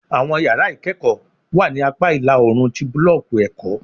Awọn yara ikẹkọ wa ni apa ila-oorun ti bulọọki ẹkọ